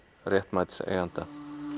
réttmæts eiganda